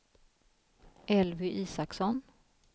Elvy Isaksson